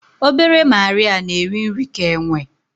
Obere Marịa na-eri nri ka enwe